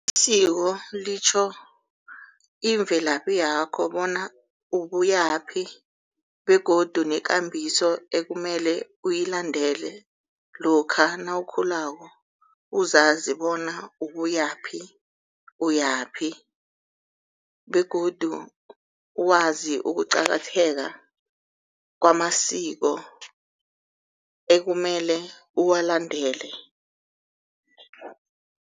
Isiko litjho imvelaphi yakho bona ubuyaphi begodu nekambiso ekumele uyilandele. Lokha nawukhulako uzazi bona ubuyaphi uyaphi begodu wazi ukuqakatheka kwamasiko ekumele uwulandele.